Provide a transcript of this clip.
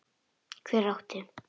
Hver átti?